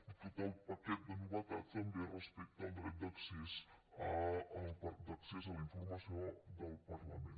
i tot el paquet de novetats també respecte al dret d’accés a la informació del parlament